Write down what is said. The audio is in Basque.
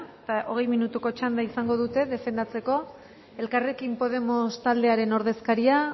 hogei minutuko txanda izango dute defendatzeko elkarrekin podemos taldearen ordezkaria